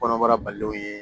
Kɔnɔbara balilenw ye